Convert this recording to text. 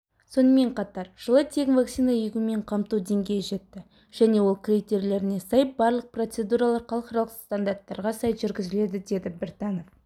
сонымен қатар жылы тегін вакцина егумен қамту деңгейі жетті және ол критерилеріне сай барлық процедуралар халықаралық стандарттарға сай жүргізіледі деді біртанов